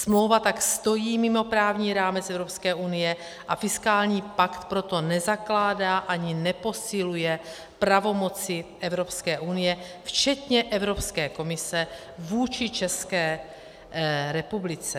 Smlouva tak stojí mimo právní rámec Evropské unie, a fiskální pakt proto nezakládá ani neposiluje pravomoci Evropské unie včetně Evropské komise vůči České republice.